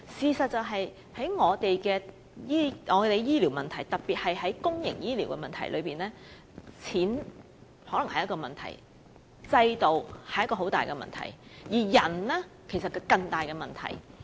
其實更重要的事實是在我們的醫療方面，特別是在公營醫療方面，錢可能是問題，制度亦是一大問題，而人手則是更大的問題。